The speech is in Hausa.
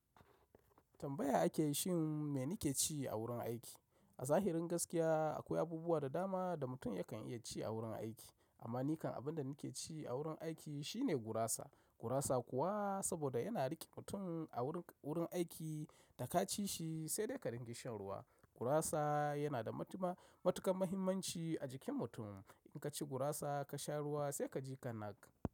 Tambaya ake yi shin me nike ci a wurin aiki? A zahirin gaskiya akwai abubuwa da dama da mutum yakan iya ci a wurin aiki. Amma nikan abinda nike ci a wurin aiki shine gurasa. Gurasa kuwa saboda yana riƙe mutum a wurin aiki da ka ci shi sai dai ka ringa shan ruwa. Gurasa yana da matuƙar muhimmanci a jikin mutum. In ka ci gurasa ka sha ruwa sai ka ji ka nak.